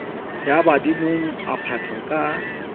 ya badimong a patwa ka